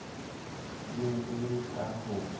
ne e le ka ho